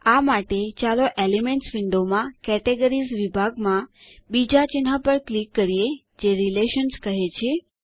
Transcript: આ માટે ચાલો એલિમેન્ટ્સ વિન્ડો માં કેટેગરીઝ વિભાગમાં બીજા ચિહ્ન પર ક્લિક કરીએ જે રિલેશન્સ કહે છે